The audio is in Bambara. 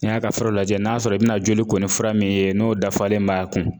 N'i y'a ka fuaraw lajɛ n'a sɔrɔ i bina joli ko ni fura min ye n'o dafalen b'a kun.